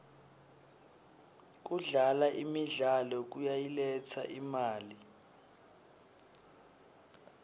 kudlala imidlalo kuyayiletsa imali